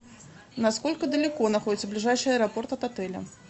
насколько далеко находится ближайший аэропорт от отеля